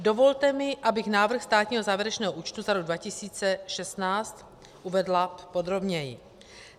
Dovolte mi, abych návrh státního závěrečného účtu za rok 2016 uvedla podrobněji.